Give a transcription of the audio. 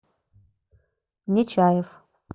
нечаев